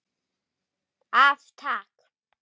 Af Takk.